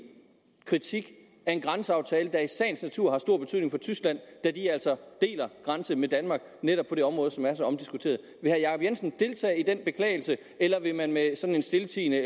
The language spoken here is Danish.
kritik af en grænseaftale der i sagens natur har stor betydning for tyskland da de altså deler grænse med danmark netop på det område som er så omdiskuteret vil herre jacob jensen deltage i den beklagelse eller vil man med sådan en stiltiende